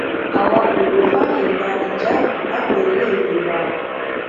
àwa kò ní fààyè gba híjáàbù láwọn iléèwé wa